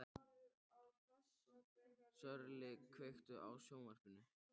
Sörli, kveiktu á sjónvarpinu.